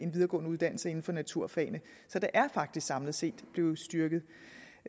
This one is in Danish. videregående uddannelse inden for naturfagene så det er faktisk samlet set blevet styrket